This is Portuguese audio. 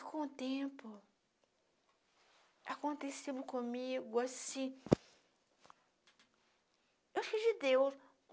E com o tempo... Aconteceu comigo, assim... Eu sou de Deus.